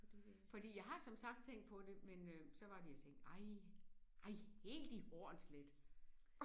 Fordi jeg har som sagt tænkt på det men øh så var det jeg tænkte ej ej helt i Hornslet